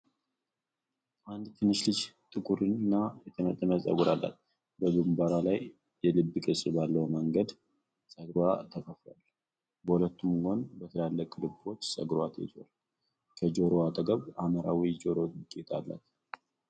አንዲት ትንሽ ልጅ ጥቁርና የተጠመጠመ ፀጉር አላት። በግንባርዋ ላይ የልብ ቅርጽ ባለው መንገድ ፀጉርዋ ተከፍሏል። በሁለቱም ጎን በትላልቅ ልቦች ፀጉርዋ ተይዟል። ከጆሮዋ አጠገብ ሐምራዊ የጆሮ ጌጥ አላት።